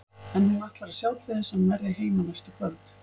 En hún ætlar að sjá til þess að hann verði heima næstu kvöld.